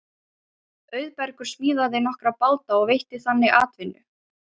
Auðbergur smíðaði nokkra báta og veitti þannig atvinnu.